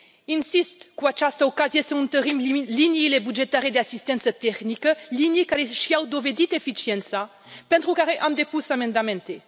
Insist cu această ocazie să întărim liniile bugetare de asistență tehnică, linii care și au dovedit eficiența, pentru care am depus amendamente.